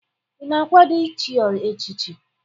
Ị na-akwado ichi echichi?